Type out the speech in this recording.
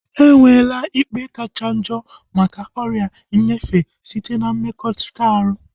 Enwela ikpe kachanjo maka ọrịa nyefee site na mmekọrịta ahu